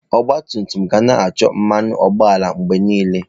Ọgba tum tum ga na-achọ mmanụ ụgbọala mgbe niile.